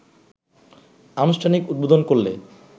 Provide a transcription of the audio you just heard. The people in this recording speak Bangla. আনুষ্ঠানিক উদ্বোধন করলে